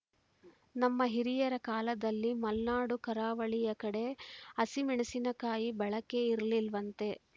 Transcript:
ನಮ್ಮ ಹಿರಿಯರ ಕಾಲದಲ್ಲಿ ಮಲ್ನಾಡು ಕರಾವಳಿಯ ಕಡೆ ಹಸಿಮೆಣಸಿನ ಕಾಯಿ ಬಳಕೆ ಇರ್ಲಿಲ್ವಂತೆ